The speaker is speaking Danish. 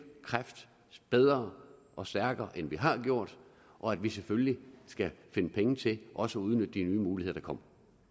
kræft bedre og stærkere end vi har gjort og at vi selvfølgelig skal finde penge til også at udnytte de nye muligheder